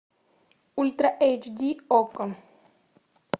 ультра эйч ди окко